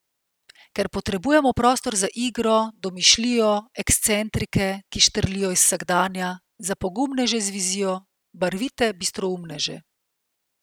Ker potrebujemo prostor za igro, domišljijo, ekscentrike, ki štrlijo iz vsakdana, za pogumneže z vizijo, barvite bistroumneže.